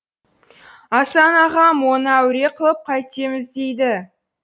асан ағам оны әуре қылып қайтеміз дейді